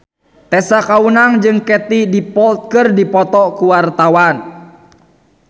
Tessa Kaunang jeung Katie Dippold keur dipoto ku wartawan